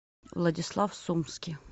владислав сумский